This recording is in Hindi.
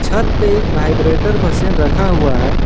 प्रत्येक वाइब्रेटर मशीन रखा हुआ है।